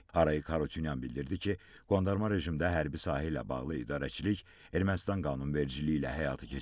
Arayik Harutyunyan bildirdi ki, qondarma rejimdə hərbi sahə ilə bağlı idarəçilik Ermənistan qanunvericiliyi ilə həyata keçirilib.